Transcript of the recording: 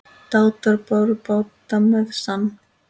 Dátar báru bát með sann.